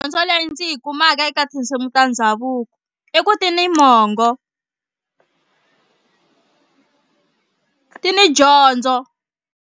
Dyondzo leyi ndzi yi kumaka eka tinsimu ta ndhavuko i ku ti ni mongo ti ni dyondzo.